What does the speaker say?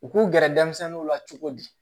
U k'u gɛrɛ denmisɛnninw la cogo di